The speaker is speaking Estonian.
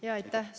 Aitäh!